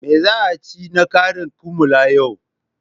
Me za a ci na karin kumallo yau?